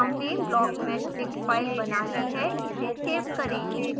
हमने blockmeshdict file बना ली है इसे सेव करें